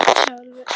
Hálfum